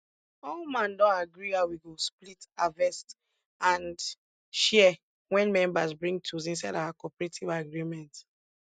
all man don agree how we go split harvest and share wen members bring tools inside our cooperative agreement